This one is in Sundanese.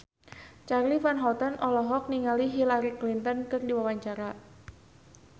Charly Van Houten olohok ningali Hillary Clinton keur diwawancara